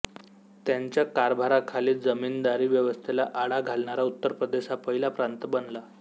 त्यांच्या कारभाराखाली जमींदारी व्यवस्थेला आळा घालणारा उत्तर प्रदेश हा पहिला प्रांत बनला